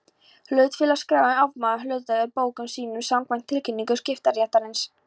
Hlutafélagaskráin afmáir hlutafélag úr bókum sínum samkvæmt tilkynningu skiptaréttarins.